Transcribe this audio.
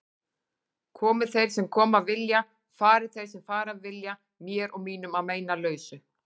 Komi þeir sem koma vilja, fari þeir sem fara vilja, mér og mínum að meinalausu.